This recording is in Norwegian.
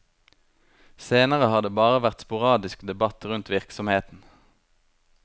Senere har det bare vært sporadisk debatt rundt virksomheten.